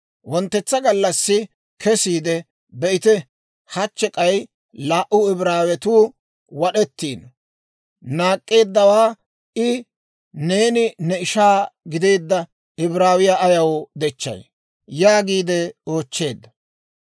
Wonttetsa gallassi kesiide, be'ite! Hachche k'ay laa"u Ibraawetuu wad'ettiino. Naak'k'eeddawaa I, «Neeni ne ishaa gideedda Ibraawiyaa ayaw dechchay?» yaagiide oochcheedda.